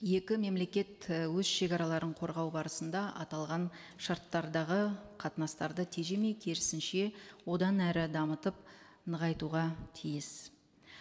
екі мемлекет і өз шегараларын қорғау барысында аталған шарттардағы қатынастарды тежемей керісінше одан әрі дамытып нығайтуға тиіс